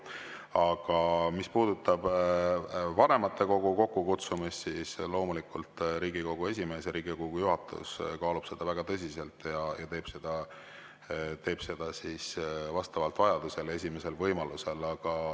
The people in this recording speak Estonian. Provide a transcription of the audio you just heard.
Aga mis puudutab vanematekogu kokkukutsumist, siis loomulikult Riigikogu esimees ja Riigikogu juhatus kaaluvad seda väga tõsiselt ja teevad seda vastavalt vajadusele esimesel võimalusel.